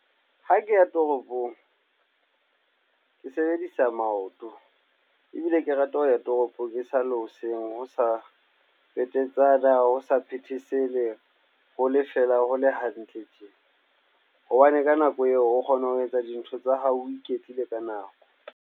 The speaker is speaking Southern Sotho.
Ha ke ya toropong, ke sebedisa maoto ebile ke rata ho ya toropong esale hoseng. Ho sa petetsana, ho sa phethesele, ho le fela, ho le hantle tje. Hobane ka nako eo, o kgona ho etsa dintho tsa hao, o iketlile ka nako.